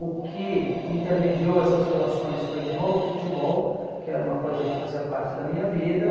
O que intermediou essas relações foi de novo o futebol, que era uma coisa que fazia parte da minha vida.